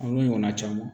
A n'a ɲɔgɔnna caman